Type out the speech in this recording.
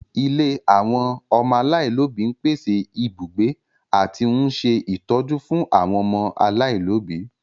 Ilé àwọn ọmọ aláìlóbi ń pèsè ibùgbé àti ń ṣe ìtọ́jú fún àwọn ọmọ aláìlóbi